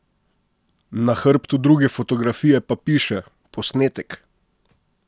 Na hrbtu druge fotografije pa piše: "Posnetek.